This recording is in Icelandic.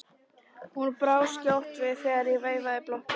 Hún brá skjótt við þegar ég veifaði blokkinni.